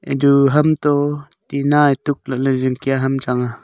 edu hamtoh tinna e tukley zingkya ham changa.